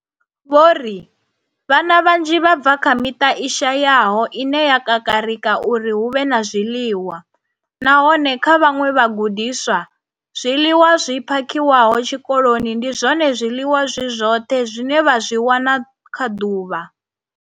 Vho ri, Vhana vhanzhi vha bva kha miṱa i shayaho ine ya kakarika uri hu vhe na zwiḽiwa, nahone kha vhaṅwe vhagudiswa, zwiḽiwa zwi phakhiwaho tshikoloni ndi zwone zwiḽiwa zwi zwoṱhe zwine vha zwi wana kha ḓuvha.